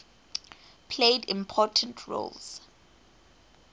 played important roles